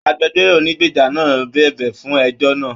Agbẹ̀jọ́ro ònígbeja náà bẹbẹ fún ẹjọ náà.